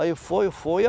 Aí foi, foi.